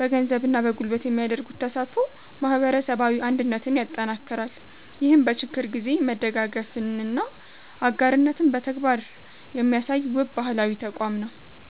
በገንዘብና በጉልበት የሚያደርጉት ተሳትፎ ማህበረሰባዊ አንድነትን ያጠናክራል። ይህም በችግር ጊዜ መደጋገፍንና አጋርነትን በተግባር የሚያሳይ፣ ውብ ባህላዊ ተቋም ነው።